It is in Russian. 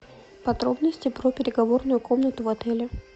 подробности про переговорную комнату в отеле